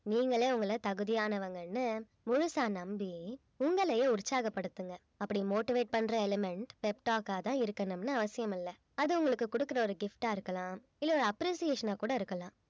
நீங்களே உங்கள தகுதியானவங்கன்னு முழுசா நம்பி உங்களையே உற்சாகப்படுத்துங்க அப்படி motivate பண்ற element pep talk ஆ தான் இருக்கணும்னு அவசியமில்லை அது உங்களுக்கு குடுக்கிற ஒரு gift ஆ இருக்கலாம் இல்ல ஒரு appreciation ஆ கூட இருக்கலாம்